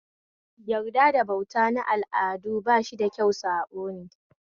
Yarda da bauta na al'adu bashi da kyau saɓone